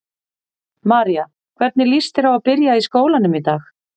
María: Hvernig líst þér á að byrja í skólanum í dag?